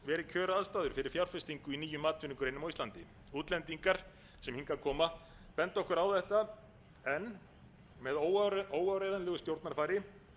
kjöraðstæður fyrir fjárfestingu í nýjum atvinnugreinum á íslandi útlendingar sem hingað koma benda okkur á þetta en með óáreiðanlegu stjórnarfari